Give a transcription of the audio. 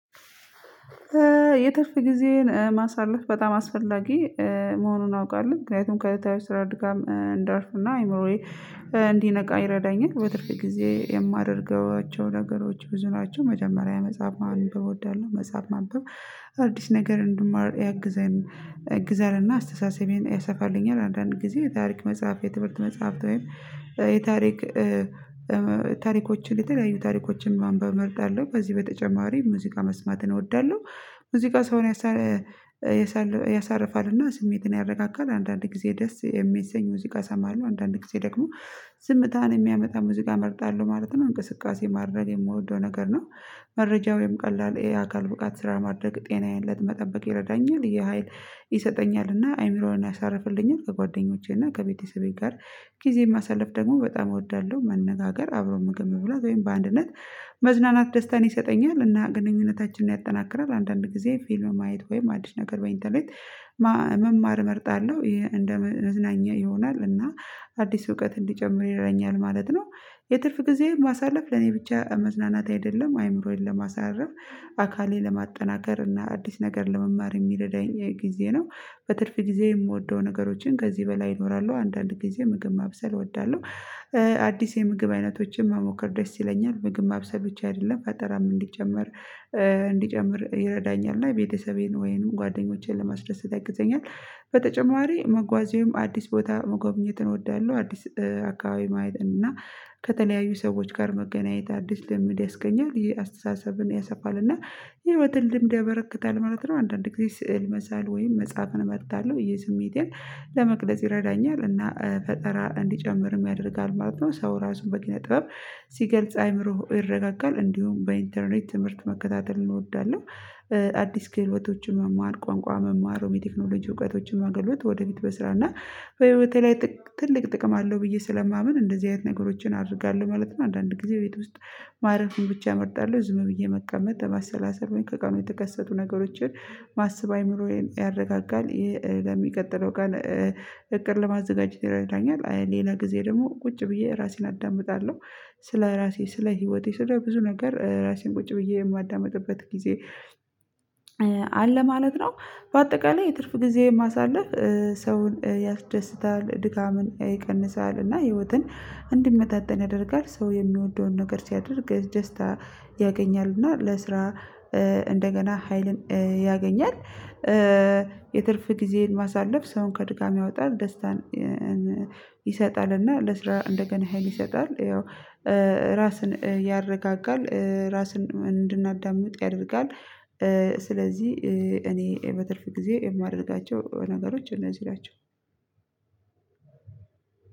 የትርፍ ጊዜን ማሳለፍ በጣም አስፈላጊ መሆኑን አውቃለሁ። ምክንያቱም ከተከታታይ ስራ ድጋም እንዳርፍና አይምሮዬ እንዲነቃ ይረዳኛል። በትርፍ ጊዜ የማደርገዋቸው ነገሮች ብዙ ናቸው። መጀመሪያ መጽሐፍ ማንበብ እወዳለሁ። መጽሐፍ ማንበብ አዲስ ነገር እንድማር ያግዘን ያግዘናል አስተሳሰቤን ያሰፋልኛል። አንዳንድ ጊዜ የታሪክ መጽሐፍ የትምህርት መጽሐፍት ወይም የታሪክ ታሪኮችን የተለያዩ ታሪኮችን ማንበብ እመርጣለሁ። ከዚህ በተጨማሪ ሙዚቃ መስማትን እወዳለሁ። ሙዚቃ ሰውን ያሳርፋል ያሳርፋልና ስሜትን ያረጋጋል። አንዳንድ ጊዜ ደስ የሚሰኙ ሙዚቃ እሰማለሁ። አንዳንዴ ጊዜ ደግሞ ዝምታን የሚያመጣ ሙዚቃ እመርጣለሁ ማለት ነው። እንቅስቃሴ ማድረግ የምወደው ነገር ነው። መረጃ ወይም ቀላል የአካል ብቃት ስራ ማድረግ ጤናየን ለመጠበቅ ይረዳኛል የሀይል ይሰጠኛልና አይምሮውን ያሳረፍልኛል። ከጓደኞቼና ከቤተሰቤ ጋር ጊዜን ማሳልፍ ደግሞ በጣም እወዳለሁ። መነጋገር አብሮ ምግብ መብላት ወይም በአንድነት መዝናናት ደስታን ይሰጠኛል እና ግንኙነታችንን ያጠናክራል። አንዳንድ ጊዜ ፊልም ማየት ወይም አዲስ ነገር በኢንተርኔት መማር እመርጣለሁ። እንደ መዝናኛ ይሆናል እና አዲስ እውቀት እንዲጨምር ይረዳኛል ማለት ነው። የትርፍ ጊዜ ማሳለፍ ለኔ ብቻ መዝናናት አይደለም አይምሮየን ለማሳረፍ አካሌ ለማጠናከር እና አዲስ ነገር ለመማር የሚረዳኝ ጊዜ ነው። በትርፍ ጊዜ የምወደው ነገሮችን ከዚህ በላይ ይኖራሉ። አንዳንድ ጊዜ ምግብ ማብሰል እወዳለሁ፤ አዲስ የምግብ አይነቶችን መሞከር ደስ ይለኛል። ምግብ ማብሰልጰብቻ አይደለም ፈጠራም እንዲጀመር እንዲጨምር ይረዳኛል እና ቤተሰቤን ወይንም ጓደኞቼን ለማስደሰት ያግዘኛል። በተጨማሪ መጓዜውም አዲስ ቦታ መጎብኘትን እወዳለሁ። አዲስ አካባቢ ማየትን እና ከተለያዩ ሰዎች ጋር መገናኘት አዲስ ልምድ ያስገኛል። ይሄ አስተሳሰብን ያሳፋል እና የህይወትን ልምድ ያበረክታል ማለት ነው። አንዳንዴ ስዕል መሳል ወይም መጽሐፍን እመርጣለሁ። ይህ ስሜቴን ለመቅረጽ ይረዳኛል እና ፈጠራ እንዲጨምር ያደርጋል ማለት ነው። ሰው ራሱን በኪነ ጥበብ ሲገልጽ አይምሮ ይረጋጋል። እንዲሁም በኢንተርኔት ትምህርት መከታተል እንወዳለን። አዲስ ክህሎቶን መማር ቋንቋ መማሩ የቴክኖሎጂ እውቀቶችን መገለጥ ወደ ፊት በስራ እና በህይወቴ ላይ ትልቅ ጥቅም አለው። ብዬ ስለማምን እንደዚህ አይነት ነገሮችን አድርጋለሁ ማለት ነው። አንዳንድ ጊዜ ቤት ውስጥ ማረፍን ብቻ እመርጣለሁ ዝም ብዬ መቀመጥ ለማሰላሰል ከቀኑ የተከሰቱ ነገሮችን ማሰብ አይምሮዬን ያረጋጋል። ለሚቀጥለው ቀን እቅድ ለማዘጋጀት ይረዳኛል። ሌላ ጊዜ ደግሞ ቁጭ ብዬ ራሴን አዳምጣለሁ። ስለ ራሴ ስለ ህይወቴ ስለ ብዙ ነገር ራሴን ቁጭ ብዬ የማዳምጥበት ጊዜ አለ ማለት ነው። በአጠቃላይ የትርፍ ጊዜ ማሳለፍ ሰውን ያስደስታል ድካምን ይቀንሳል እና ህይወትን እንዲመጣጠን ያደርጋል። ሰው የሚወደውን ነገር ሲያደርግ ደስታ ያገኛል እና ለስራ እንደገና ሀይልን ያገኛል። የትርፍ ጊዜን ማሳለፍ ሰውን ከድካም ያወጣል ደስታን ይሰጣልና ለስራ እንደገና ሀይል ይሰጣል። ያው ራስን ያረጋጋል፤ ራስን እንድናዳምጥ ያደርጋል። ስለዚህ እኔ በትርፍ ጊዜየ ጊዜ የማደርጋቸው ነገሮች እነዚህ ናቸው።